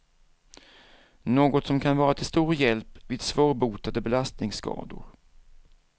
Något som kan vara till stor hjälp vid svårbotade belastningsskador.